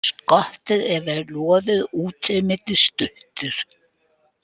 Skottið er vel loðið og útlimir stuttir.